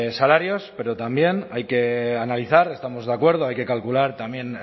salarios pero también hay que analizar estamos de acuerdo hay que calcular también